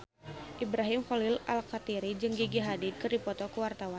Ibrahim Khalil Alkatiri jeung Gigi Hadid keur dipoto ku wartawan